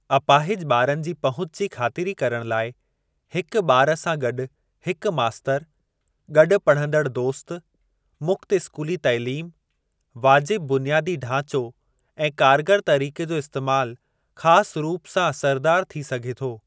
अपाहिज ॿारनि जे पहुच जी ख़ातिरी करण लाइ हिक ॿार सां गॾु हिकु मास्तरु, गॾु पढ़ंदड़ दोस्त, मुक्त स्कूली तइलीम, वाजिब बुनियादी ढांचो ऐं कारगर तरीक़े जो इस्तैमाल ख़ासि रूप सां असरदार थी सघे थो ।